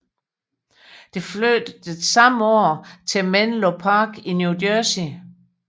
Det flyttede samme år til Menlo Park i New Jersey